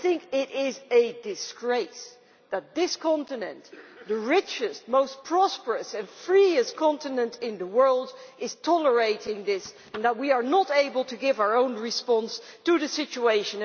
It is a disgrace that this continent the richest, most prosperous and freest continent in the world is tolerating this, and that we are not able to give our own response to the situation.